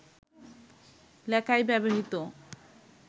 লেখায় ব্যবহৃত